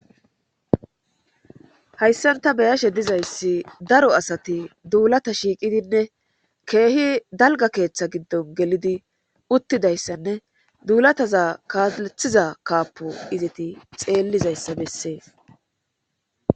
Hayssanta beyashe dizayssi daro asati duulata shiiqidinne keehi dalga keeththa giddon gelidi uttidayssanne duulataza kaaalethiza kaapo izeti xeellizayssa bessee.